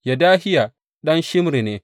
Yedahiya ɗan Shimri ne.